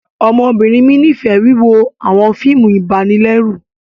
Ọmọbinrin mi nifẹ wiwo awọn fíìmù ibanilẹru